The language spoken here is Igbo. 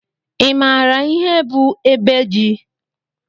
i maara ihe bụ ebe ji?